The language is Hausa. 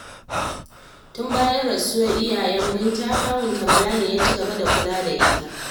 Tun bayan rasuwar iyayen Binta, kawunta Bala ne ya ci gaba da kula da ita